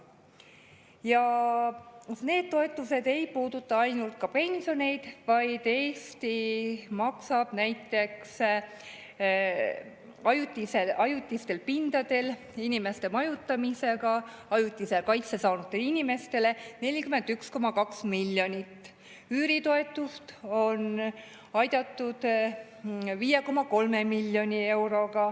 Ja see ei puuduta ainult pensioneid, vaid Eesti maksab näiteks ajutistele pindadele paigutatud inimeste majutamise eest 41,2 miljonit, üüritoetust on antud 5,3 miljoni eurot.